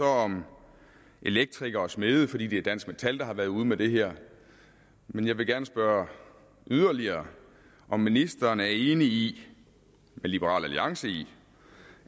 om elektrikere og smede fordi det er dansk metal der har været ude med det her men jeg vil gerne spørge yderligere om ministeren er enig med liberal alliance i